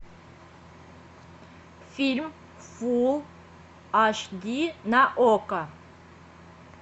фильм фулл аш ди на окко